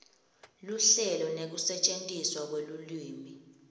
luhlelo nekusetjentiswa kwelulwimi